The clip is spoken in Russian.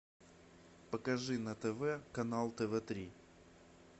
покажи на тв канал тв три